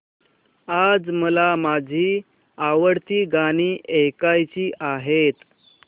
आज मला माझी आवडती गाणी ऐकायची आहेत